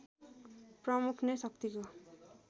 प्रमुख नै शक्तिको